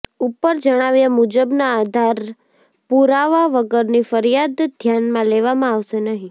ઉપર જણાવ્યા મુજબના આધાર પુરાવા વગરની ફરિયાદ ધ્યાનમાં લેવામાં આવશે નહી